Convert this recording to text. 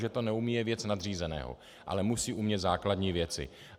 Že to neumí, je věc nadřízeného, ale musí umět základní věci.